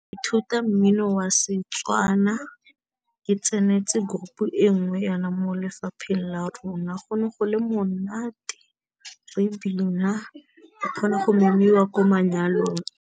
Ithuta mmino wa setswana, ke tsenetse group e nngwe yana mo lefapheng la rona, go ne go le monate ebile re kgona go memiwa kwa manyalong.